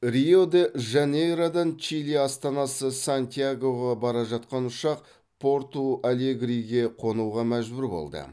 рио де жанейродан чили астанасы сантьягоға бара жатқан ұшақ порту алегриге қонуға мәжбүр болды